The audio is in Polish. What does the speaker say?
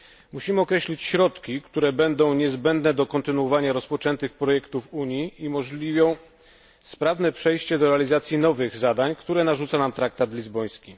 Musimy określić środki, które będą niezbędne do kontynuowania rozpoczętych projektów Unii i umożliwią sprawne przejście do realizacji nowych zadań, które narzuca nam traktat lizboński.